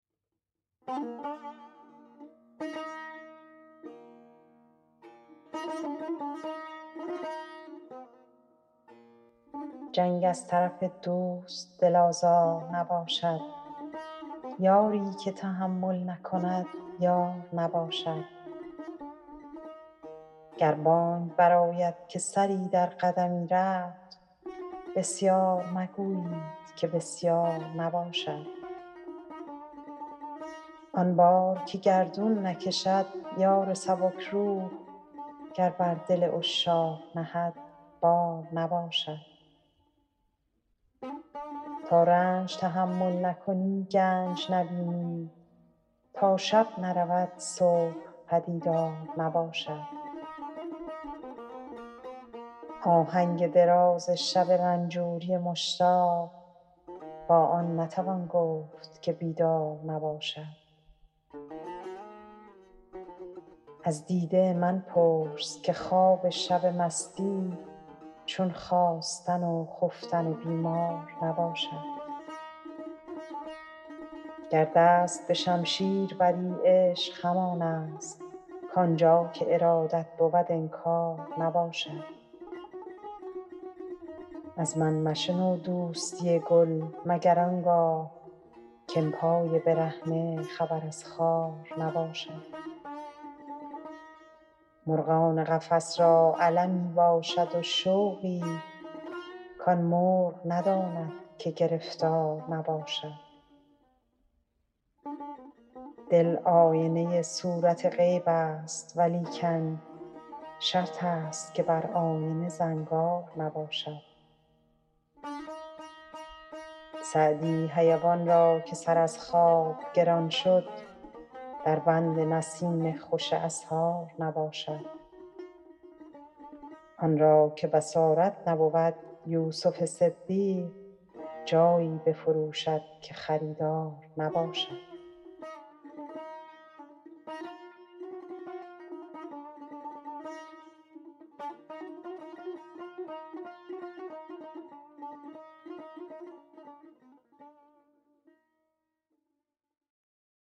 جنگ از طرف دوست دل آزار نباشد یاری که تحمل نکند یار نباشد گر بانگ برآید که سری در قدمی رفت بسیار مگویید که بسیار نباشد آن بار که گردون نکشد یار سبک روح گر بر دل عشاق نهد بار نباشد تا رنج تحمل نکنی گنج نبینی تا شب نرود صبح پدیدار نباشد آهنگ دراز شب رنجوری مشتاق با آن نتوان گفت که بیدار نباشد از دیده من پرس که خواب شب مستی چون خاستن و خفتن بیمار نباشد گر دست به شمشیر بری عشق همان است کآن جا که ارادت بود انکار نباشد از من مشنو دوستی گل مگر آن گاه که ام پای برهنه خبر از خار نباشد مرغان قفس را المی باشد و شوقی کآن مرغ نداند که گرفتار نباشد دل آینه صورت غیب است ولیکن شرط است که بر آینه زنگار نباشد سعدی حیوان را که سر از خواب گران شد در بند نسیم خوش اسحار نباشد آن را که بصارت نبود یوسف صدیق جایی بفروشد که خریدار نباشد